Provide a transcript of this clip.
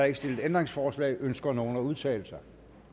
ikke stillet ændringsforslag ønsker nogen at udtale sig